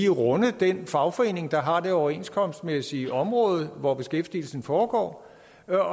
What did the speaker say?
runde den fagforening der har der overenskomstmæssige område hvor beskæftigelsen foregår